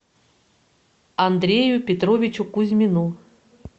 андрею петровичу кузьмину